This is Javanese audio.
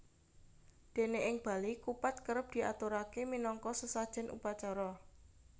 Déné ing Bali kupat kerep diaturaké minangka sesajèn upacara